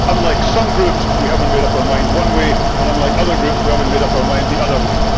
unlike some groups we have not made up our mind one way and unlike other groups we have not made up our mind the other way.